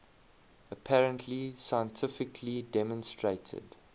apparently scientifically demonstrated